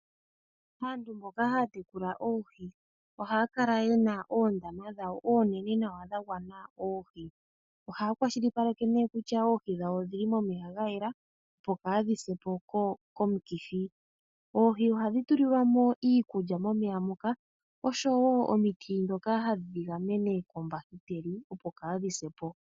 Aantu mboka haya tekula oohi ohaya kala ye na oondama dhawo onene nawa dha gwana oohi. Ohaya kwashilipaleke kutya oohi dhawo odhi li momeya ga yela, opo kaadhi se po komikithi. Oohi ohadhi tulilwa mo iikulya momeya muka oshowo omiti ndhoka hadhi dhi gamene koombahiteli, opo kaadhi se po.